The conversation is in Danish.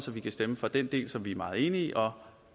vi kan stemme for den del som vi er meget enige i og